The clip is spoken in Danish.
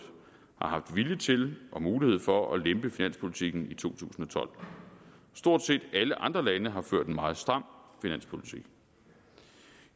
har haft vilje til og mulighed for at lempe finanspolitikken i to tusind og tolv stort set alle andre lande har ført en meget stram finanspolitik